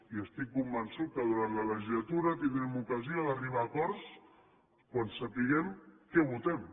i estic convençut que durant la legislatura tindrem ocasió d’arribar a acords quan sapiguem què votem